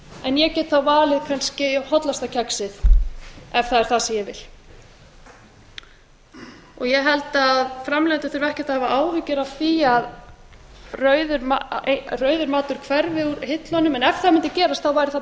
en ég get þá valið kannski hollasta kexið ef það er það sem ég vil ég held að framleiðendur þurfi ekki að hafa áhyggjur af því að rauður matur hverfi úr hillunum en ef það mundi gerast þá er það